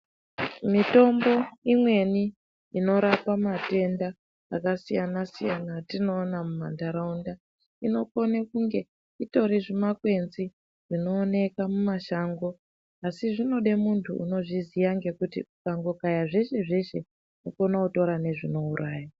Mitombo imweni inorapa matenda akasiyana-siyana etinoona mumantaraunda, inokone kunge itori zvimakwenzi zvinooneka mumashango, asi zvinode muntu unozviziya ngekuti ukangokaya zveshe-zveshe, unokone kutora nezvinouraya.